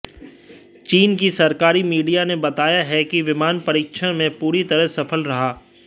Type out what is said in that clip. चीन की सरकारी मीडिया ने बताया है कि विमान परीक्षण में पूरी तरह सफल रहा